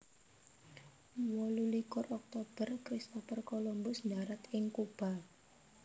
Wolu likur Oktober Christopher Columbus ndharat ing Kuba